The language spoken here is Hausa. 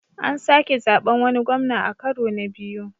An sake zaɓen wani gwamna a karo na biyu.